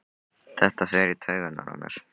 Þetta fer í taugarnar á mér.